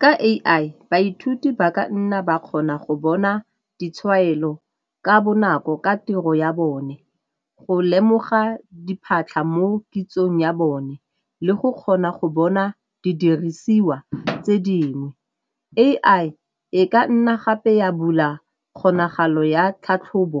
Ka A_I baithuti ba ka nna ba kgona go bona ditshwaelo ka bonako ka tiro ya bone go lemoga diphatlha mo kitsong ya bone le go kgona go bona didirisiwa tse dingwe. A_I e ka nna gape ya bula kgonagalo ya tlhatlhobo